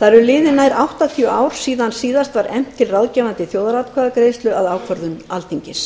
það eru liðin nær áttatíu ár síðan síðast var efnt til ráðgefandi þjóðaratkvæðagreiðslu að ákvörðun alþingis